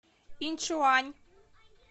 иньчуань